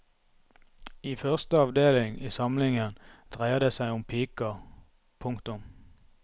I første avdeling i samlingen dreier det seg om piker. punktum